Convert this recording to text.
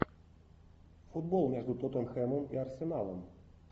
футбол между тоттенхэмом и арсеналом